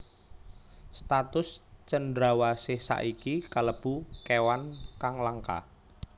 Status cendrawasih saiki kalebu kéwan kang langka